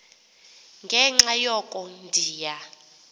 ngenxa yoko ndiya